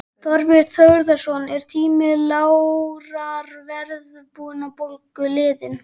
Þorbjörn Þórðarson: Er tími lágrar verðbólgu liðinn?